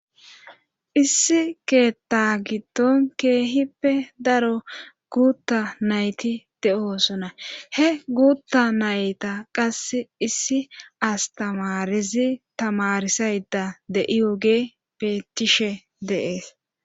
Issi keetta giddon keehippe daro guutta nayti de7oosona; he guutta nayta qasse issi astamarizi tamarisayda de7ioge beetishe deees.